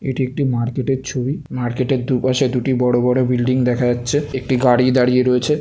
এটি একটি মার্কেট এর ছবি মার্কেট এ দুপাশে দুটি বড়ো বড়ো বিল্ডিং দেখা যাচ্ছে একটি গাড়ি দাঁড়িয়ে রয়েছে ।